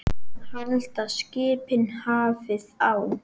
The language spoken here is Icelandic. Halda skipin hafið á.